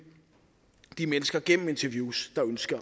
de mennesker gennem interviews